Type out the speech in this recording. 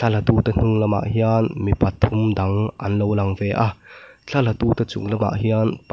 thla la tute hnung lamah hian mi pathum dang an lo lang ve a thla la tute chung lamah hian pa --